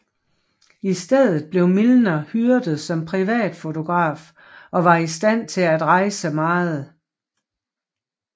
I stedet blev Milner hyret som privatfotograf og var i stand til at rejse meget